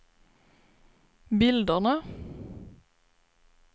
bilderna